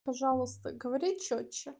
пожалуйста говори чётче